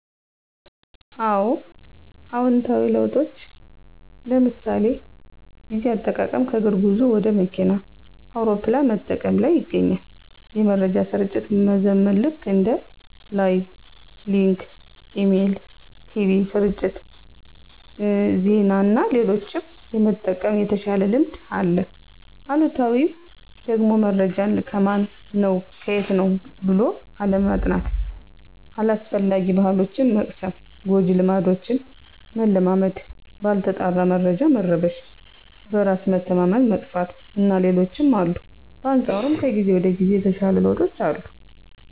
አወ። አዎንታዊ ለውጦች ለምሣሌ፦ ጊዜ አጠቃቀም ከእግር ጉዞ ወደ መኪና፣ አውሮፕላን በመጠቀም ላይ ይገኛል። የመረጃ ስርጭት መዘመን ልክ እንደ ላይቭ፣ ሊንክ፣ ኢሜል፣ ቲቪ ስርጭት፣ ዜና እና ሌሎችም የመጠቀም የተሻለ ልምድ አለ። አሉታዊው ደግሞመረጃን ከማን ነው ከየት ነው ብሎ አለማጥናት። አላስፈላጊ ባሕሎችን መቅሰም፣ ጎጂ ልማዶችን መለማመድ፣ ባልተጣራ መረጃ መረበሽ፣ በራስ መተማመን መጥፋት እና ሌሎችም አሉ። በአንፃሩም ከጊዜ ወደ ጊዜ የተሻሉ ለውጦች አሉ።